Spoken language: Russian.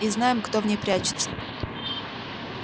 и знаем кто в ней прячется